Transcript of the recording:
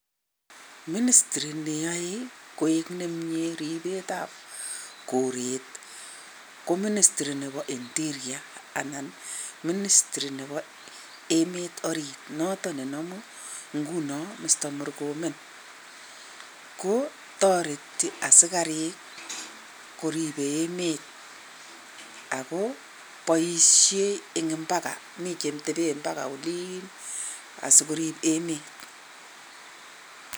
Ministry neae koik nemie ripet ap koret ko Ministry nebo Interior anan Ministry nebo emet orit noton nenomu inguno Mr Murkomen. Ko, toreti asikarik koripe emet ako boishe eng' mpakaa miten cheteben mpakaa oliin asikorip emet.